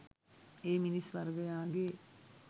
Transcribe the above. ඒ මිනිස් වර්ගයාගේ